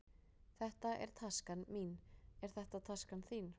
Þetta er taskan mín. Er þetta taskan þín?